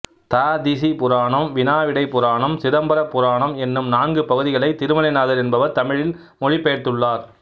ததீசி புராணம் வினாவிடைப் புராணம் சிதம்பர புராணம் என்னும் நான்கு பகுதிகளை திருமலைநாதர் என்பவர் தமிழில் மொழிப்பெயர்த்துள்ளார்